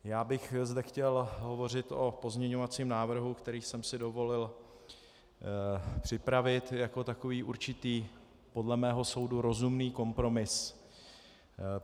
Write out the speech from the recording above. Já bych zde chtěl hovořit o pozměňovacím návrhu, který jsem si dovolil připravit jako takový určitý podle mého soudu rozumný kompromis.